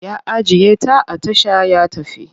Ya ajiye ta a tasha ya tafi.